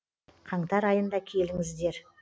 қаңтар айында келіңіздер